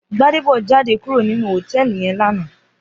Gbadebo jàdé kúró ninú hótèlí yèn làná